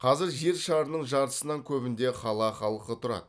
қазір жер шарының жартысынан көбінде қала халқы тұрады